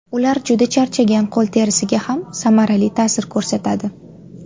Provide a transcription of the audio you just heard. Ular juda charchagan qo‘l terisiga ham samarali ta’sir ko‘rsatadi.